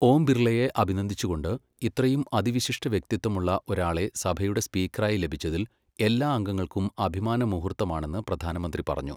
ഓം ബിർളയെ അഭിനന്ദിച്ചുകൊണ്ട്, ഇത്രയും അതിവിശിഷ്ട വ്യക്തിത്വമുള്ള ഒരാളെ സഭയുടെ സ്പീക്കറായി ലഭിച്ചതിൽ എല്ലാ അംഗങ്ങൾക്കും അഭിമാന മുഹൂർത്തമാണെന്ന് പ്രധാനമന്ത്രി പറഞ്ഞു.